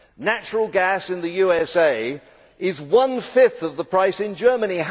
Natural gas in the USA is one fifth of the price in Germany.